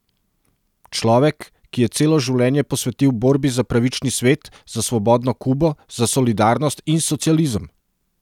Človek, ki je celo življenje posvetil borbi za pravični svet, za svobodno Kubo, za solidarnost in socializem!